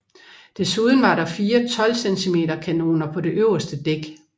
Desuden var der fire 12 cm kanoner på det øverste dæk